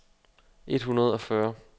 et hundrede og fyrre